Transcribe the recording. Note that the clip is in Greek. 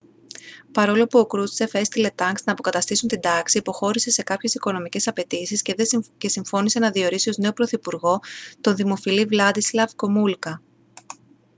παρόλο που ο κρούστσεφ έστειλε τανκς να αποκαταστήσουν την τάξη υποχώρησε σε κάποιες οικονομικές απαιτήσεις και συμφώνησε να διορίσει ως νέο πρωθυπουργό τον δημοφιλή βλάντισλαβ γκομούλκα